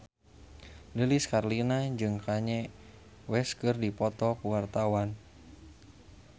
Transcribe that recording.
Lilis Karlina jeung Kanye West keur dipoto ku wartawan